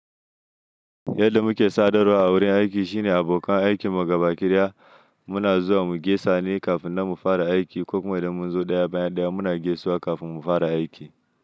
Yadda muke sadarwa a wurin aiki shine abokan aikin mu gabaki ɗaya muna zuwa mu gaisa ne kafin na mu fara aiki ko kuma idan mun zo ɗaya bayan ɗaya muna gaisuwa kafin mu fara aiki.